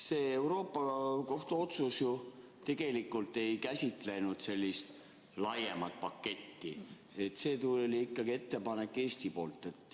See Euroopa Liidu Kohtu otsus ju tegelikult ei käsitlenud sellist laiemat paketti, see ettepanek tuli Eesti poolt.